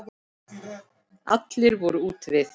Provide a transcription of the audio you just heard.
Allir voru úti við.